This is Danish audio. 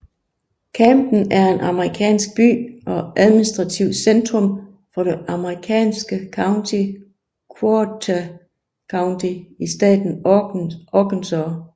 Camden er en amerikansk by og administrativt centrum for det amerikanske county Ouachita County i staten Arkansas